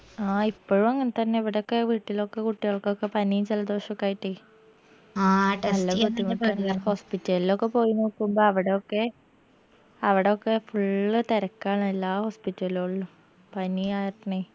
ആ ഇപ്പഴു അങ്ങൻതന്നെ ഇവടക്കെ വീട്ടിലൊക്കെ കുട്ടിയാൾക്കൊക്കെ പനിയു ജലദോഷോക്കെ ആയിട്ട് hospital ലോക്കെ പോയ് നോക്കുമ്പോ അവിടെയൊക്കെ അവിടെയൊക്കെ full തെരക്കാണ് എല്ലാ hospital ലോളും പനിയാർഞ്ഞ്